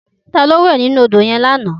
Tayo lò wè ninú ódó yèn làná